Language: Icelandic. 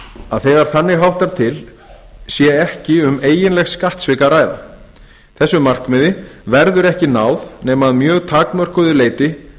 að þegar þannig háttar til sé ekki um eiginleg skattsvik að ræða þessu markmiði verður ekki náð nema að mjög takmörkuðu leyti